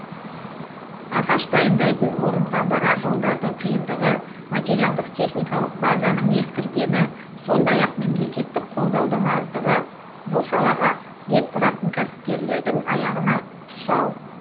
ағаш дайындайтын орынға барар жолдардың қиындығы материалдық техникалық базаның ескіргені сондай ақ мемлекеттік қолдаудың аздығы бұл салаға бет бұратын кәсіпкерлердің аяғына тұсау